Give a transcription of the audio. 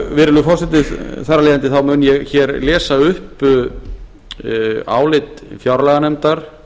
virðulegi forseti þar af leiðandi þá mun ég hér lesa upp álit fjárlaganefndar